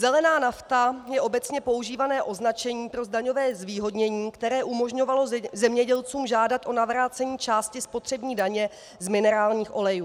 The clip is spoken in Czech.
Zelená nafta je obecně používané označení pro daňové zvýhodnění, které umožňovalo zemědělcům žádat o navrácení části spotřební daně z minerálních olejů.